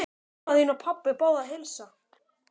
Mamma þín og pabbi báðu að heilsa.